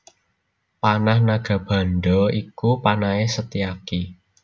Panah Nagabandha iku panahé Setyaki